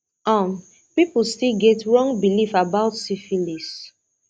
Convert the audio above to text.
um people still get wrong belief about syphilis